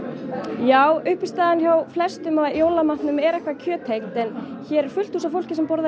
já uppistaðan hjá flestum er kjöttengt en hér er fullt hús af fólki sem borðar